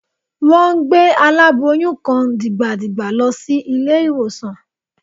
Wọ́n gbé aláboyún kan dìgbàdìgbà lọ sí ilé-ìwòsàn